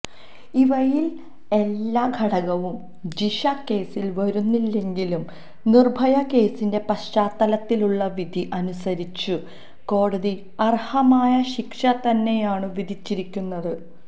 ഇവയില് എല്ലാ ഘടകവും ജിഷ കേസില് വരുന്നില്ലെങ്കിലും നിര്ഭയ കേസിന്റെ പശ്ചാത്തലത്തിലുള്ള വിധി അനുസരിച്ചു കോടതി അര്ഹമായ ശിക്ഷതന്നെയാണു വിധിച്ചിരിക്കുന്നത്